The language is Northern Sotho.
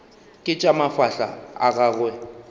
ke tša mafahla a gagwe